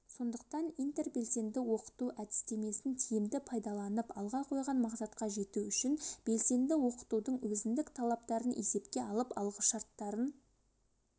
сондықтан интербелсенді оқыту әдістемесін тиімді пайдаланып алға қойған мақсатқа жету үшін белсенді оқытудың өзіндік талаптарын есепке алып алғышарттарын